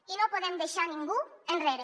i no podem deixar ningú enrere